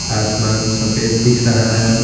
आसमान सफेद दिख रहा है।